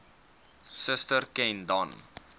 suster ken dan